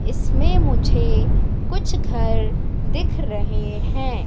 इसमें मुझे कुछ घर दिख रहे हैं।